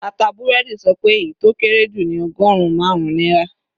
Ata búrẹ́dì sọ pé èyí tó kéré jù ní ọgọrùn marun náírà.